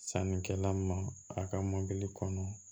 Sannikɛla ma a ka mɔli kɔnɔ